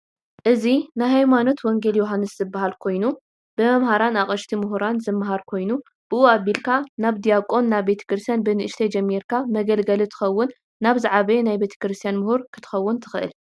እዚ ናይ ሃይማኖት ወንጌል ዮሃንስ ዝበሃል ኮይኑ ብመመሃራን አቅሽት ሙሁራን ዝማሃር ኮይኑ ብኡ ኣብልካ ናብ ዲያቆን ናይ ቤትክርስትያን ብንእሽተይ ጀሚርካ መገልገሊ ትከውን ናብ ዝዓበየ ናይ ቤተክርስትያን ሙሁር ክንትከውን ትክእል።